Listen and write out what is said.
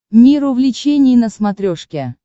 мир увлечений на смотрешке